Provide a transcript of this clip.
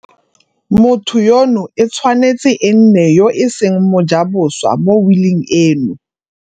Motho yono e tshwanetse e nne yo e seng mojaboswa mo wiling eno.